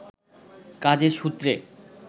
কাজের সূত্রে